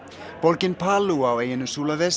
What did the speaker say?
borgin